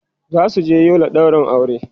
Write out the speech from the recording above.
zasu je Yola ɗaurin aure